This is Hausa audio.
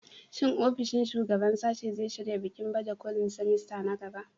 Shin ofishin shugaban sashe zai shirya bikin baje kolin semester na gaba?